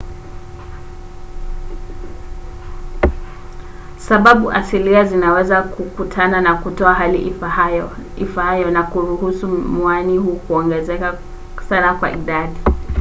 sababu asilia zinaweza kukutana na kutoa hali ifaayo na kuruhusu mwani huu kuongezeka sana kwa idadi